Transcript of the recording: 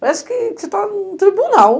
Parece que você está no tribunal.